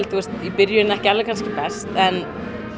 í byrjun ekki best en